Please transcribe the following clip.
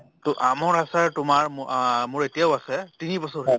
to আমৰ আচাৰ তোমাৰ মো অ মোৰ এতিয়াও আছে তিনি বছৰ হ'ল